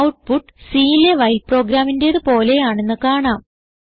output Cലെ while പ്രോഗ്രാമിന്റേത് പോലെയാണെന്ന് കാണാം